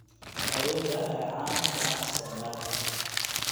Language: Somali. Awoodda ayaa caan ku ah isticmaalka